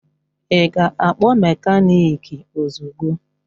Ị ga-akpọ mekaniki ozugbo!